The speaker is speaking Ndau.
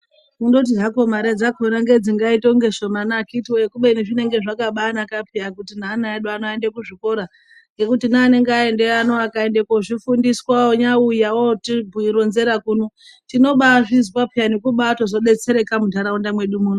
Kungoti hakwo mare dzakona ndodzinoita kunge shomani akiti woye kubeni zvinenge zvakabanaka piya nekuti neana edu aende kuzvikora . Ngekuti neanenge aendeyo akanyauzvifundiswa anobauya otironzera zviro kuno tinobazvizwa tobato detsereka mundaraunda mwedu muno.